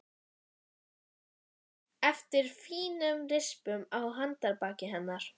Ég tek eftir fínum rispum á handarbaki hennar.